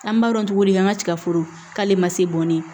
An b'a dɔn cogo di an ka tigaforo k'ale ma se bɔn ne ye